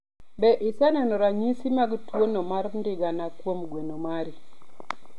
Be iseneno ranyisi mag tuwono mar ndigana kuom gweno mari?